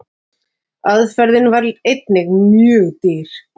Aðferðin var einnig mjög dýr.